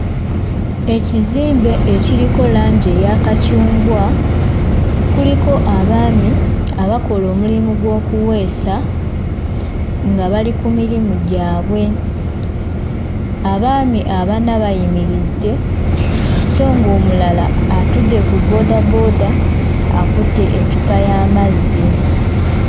Ekizimbe ekiriko langi eya kacungwa kuliko abaami abakola omulimu gw'okuweesa nga bali ku mirimu gyabwe. Abaami abana bayimiridde so ng'omulala atudde ku bboodabooda akutte eccupa y'amazzi.